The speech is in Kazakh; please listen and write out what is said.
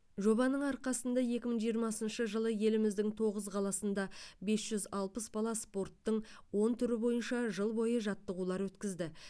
жобаның арқасында екі мың жиырмасыншы жылы еліміздің тоғыз қаласында бес жүз алпыс бала спорттың он түрі бойынша жыл бойы жаттығулар өткізді